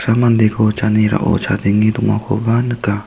mandeko janerao chadenge dongakoba nika.